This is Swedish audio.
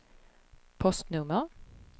postnummer